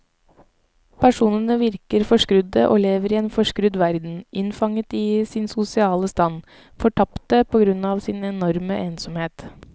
Personene virker forskrudde og lever i en forskrudd verden, innfanget i sin sosiale stand, fortapte på grunn av sin enorme ensomhet.